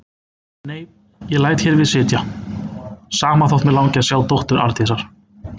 Nei, ég læt hér við sitja, sama þótt mig langi að sjá dóttur Arndísar.